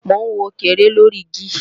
Mò ń wọ̀kẹ́rẹ́ lóri igi